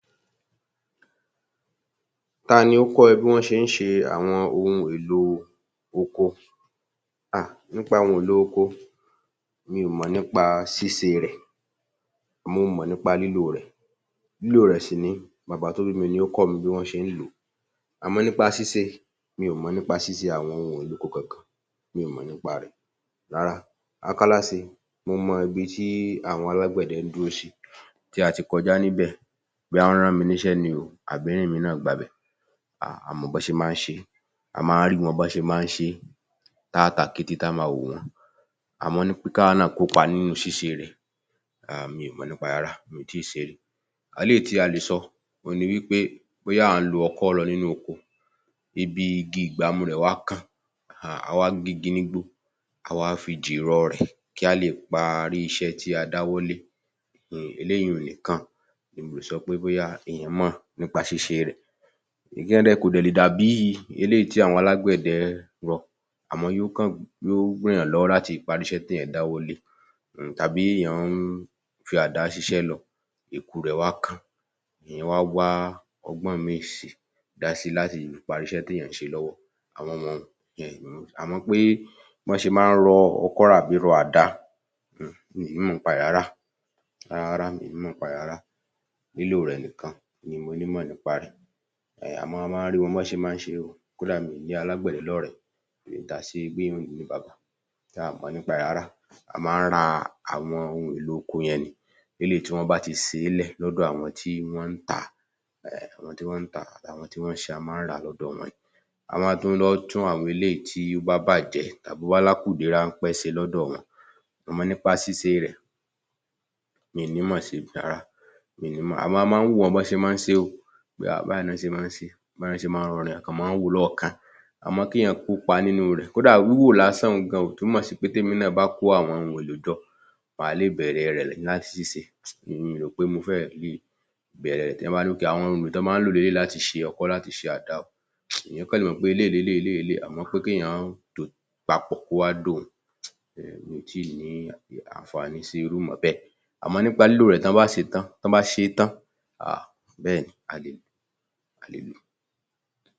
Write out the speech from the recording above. Ta ni ó kọ́ ẹ bí wọ́n ṣe ń ṣe àwọn ohun èlò oko? Háà, nípa àwọn ohun èlò oko mi ò mọ nípa ṣíṣe rẹ̀, mo mọ̀ nípa lílò rẹ̀, lílò rẹ̀ sì nìyí, bàbá tó bí mi ni ó kọ́ mi bí wọ́n ṣe ń lò ó, àmọ́ nípa ṣíṣe mi ò mọ̀ nípa ṣíṣe àwọn ohun èlò oko kankan, mi ò mọ̀ nípa rẹ̀ rárá. Akáláṣe, mo mọ ibi tí àwọn alágbẹ̀dẹ ń dúró sí, tí a ti kọjá níbẹ̀, bóyá wọ́n rán mi nị́sẹ́ ni o àbí èmi náà gbabẹ̀, a á mọ́ bí wọn ṣe máa ń ṣe é, a máa ń rí wọn bí wọ́n ṣe máa ń ṣe e, ta á ta kété, tí a ó máa wò wọ́n, àmọ́ nípa kàwa náà kọ́pa nínú ṣíṣe rẹ̀, um mi ò mọ̀ nípa rẹ̀ rárá, mi ò tí ì ṣe é rí. Eléyìí tí a lè sọ òhun ni wípé bóyá à ń lo oko lọ nínú oko, ibi igi ìgbámú rẹ̀ wá kán, um a wá gé igi nígbó, a wá fi dìrọ̀ rẹ̀ kí a lè parí iṣẹ́ tí a dáwọ́ lé, eléyìí ùn nìkan ni mo lè sọ pé bóyá èyàn mọ̀ nípa ṣíṣe rẹ̀ um kò dè le dàbí eléyìí tí àwọn alágbẹ̀dẹ rọ, àmọ́ yóò kàn, yóò ran èyàn lọ́wọ́ láti parí iṣé tí èyàn dáwọ́ lẹ́, um tàbí èyàn ń fi àdá ṣiṣé lọ ẹ̀ku rẹ̀ wá kán, èyàn wá wá ọgbọ́n míì si, dá si láti parí iṣé tí èyàn ń ṣe lọ́wọ́, àwọn um, àmọ́ pé bí wọ́n ṣe máa ń rọ ọkọ àbí rọ àdá,[um] mi ò nímọ̀ nípa ẹ̀ rárá, rárárárá, mi ò nímọ̀ rẹ̀ rárá, lílò rẹ̀ nìkan ni mo nímọ̀ nípa rẹ̀ um, a máa ń rí wọn bí wọ́n ṣe máa ń ṣe é o, kódà mo ní alágbẹ̀dẹ lọ́rẹ̀ẹ́ a ò mọ̀ nípa rẹ̀ rárá, a máa ń ra àwọn ohun èlò oko yẹn ni, eléyìí tí wọ́n bá ti ṣeélẹ̀ lọ́dọ̀ àwọn t́i wọ́n n ́tà á, àwọn tí wọ́n ń tà á àwọn tí wọ́n ń ṣe é, a máa ń rà á lọ́dọ̀ wọn ni, a máa ń tún lọ tún àwọn eléyìí tí ó bá bàjẹ́ tàbí bá ní àkùdé ráńpẹ́ ṣe lọ́dọ̀ wọn, àmọ nípa ṣíṣe rẹ̀, mi ò nímọ̀ sí rárá, mi ò nímọ̀, àmọ́ a máa ń wò wọ́n bí wọ́n ṣe máa ń ṣe é o, pé háà báyìí ní wọ́n ṣe máa ń ṣe é, báyìí ni wọ́n ṣe máa ń rọrin, a kàn máa ń wò wọ́n lọ́ọ̀kán, àmọ́ kẹ́ẹ̀yàn kópa nínú rẹ̀, kódà wíwò lásan un gan-an ò túmọ̀ sí pé tí èmi náa bá kó àwọn ohun èlò jọ mà á lè bẹ̀ẹ̀rẹ̀ rẹ̀ láti ṣisẹ́, mi ò rò pé mo fẹ́rẹ̀ le bẹ̀rẹ̀ rẹ̀, tí wọ́n bá ní pé àwọn ohun èlò tí wọ́n máa ń lò ní eléyìí láti ṣe ọkọ láti ṣe àdá [um]ènìyàn kàn le mọ̀ pé eléyìí ni eléyìí ni eléyìí àmọ́ pé kéèyàn tò ó papọ̀ kó wá dòhun, um mí ò tíì ní àǹfàní sí irú ìmọ̀ bẹ́ẹ̀, àmọ nípá lílò rẹ̀ tí wọ́n bá ṣe é tán, ah, bẹ́ẹ̀ni a le lò ó, a le lò ó